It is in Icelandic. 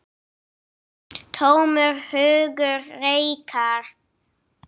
Tómur hugur reikar.